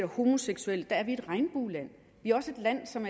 homoseksuelle er et regnbueland vi er også et land som